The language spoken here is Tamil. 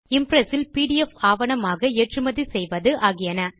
இம்ப்ரெஸ் இல் பிடிஎஃப் ஆவணமாக ஏற்றுமதி செய்வது ஆகியன